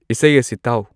ꯏꯁꯩ ꯑꯁꯤ ꯇꯥꯎ